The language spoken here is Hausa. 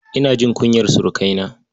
Ina jin kunyar surukaina.